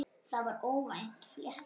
Það var óvænt flétta.